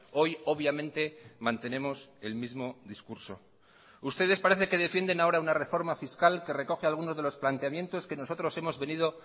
hoy obviamente mantenemos el mismo discurso ustedes parece que defienden ahora una reforma fiscal que recoge algunos de los planteamientos que nosotros hemos venido